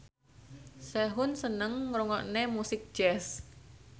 Sehun seneng ngrungokne musik jazz